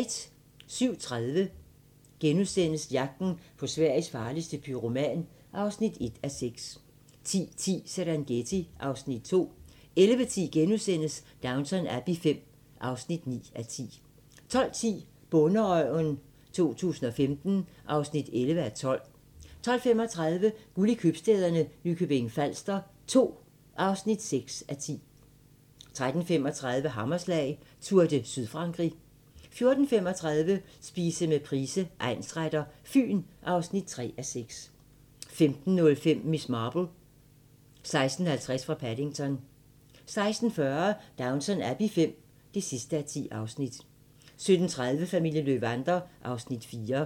07:30: Jagten på Sveriges farligste pyroman (1:6)* 10:10: Serengeti (Afs. 2) 11:10: Downton Abbey V (9:10)* 12:10: Bonderøven 2015 (11:12) 12:35: Guld i købstæderne – Nykøbing Falster 2 (6:10) 13:35: Hammerslag: Tour de Sydfrankrig 14:35: Spise med Price, egnsretter: Fyn (3:6) 15:05: Miss Marple: 16:50 fra Paddington 16:40: Downton Abbey V (10:10) 17:30: Familien Löwander (Afs. 4)